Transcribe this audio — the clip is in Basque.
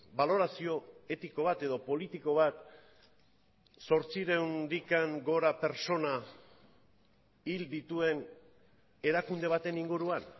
balorazio etiko bat edo politiko bat zortziehuntik gora pertsona hil dituen erakunde baten inguruan